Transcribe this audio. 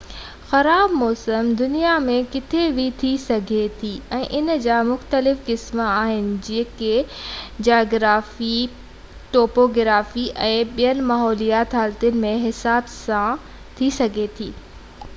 خراب موسم دنيا ۾ ڪٿي بہ ٿي سگهي ٿي ۽ ان جا مختلف قسم آهن جيڪي جاگرافي ٽوپوگرافي ۽ ٻين ماحولياتي حالتن جي حساب سان ٿي سگهي ٿي